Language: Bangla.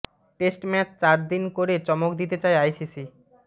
টেস্ট ম্যাচ চার দিনে করে চমক দিতে চায় আইসিসি